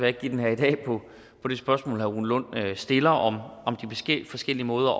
ikke give den her i dag på på det spørgsmål herre rune lund stiller om de forskellige måder